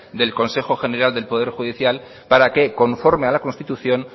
del consejo general del poder judicial para que conforme a la constitución